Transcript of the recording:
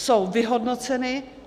Jsou vyhodnoceny.